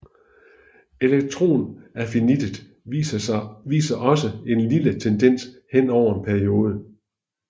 Elektronaffinitet viser også en lille tendens henover en periode